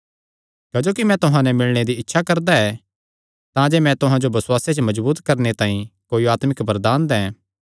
क्जोकि मैं तुहां नैं मिलणे दी बड़ी इच्छा करदा ऐ तांजे मैं तुहां जो बसुआसे च मजबूत करणे तांई कोई आत्मिक वरदान दैं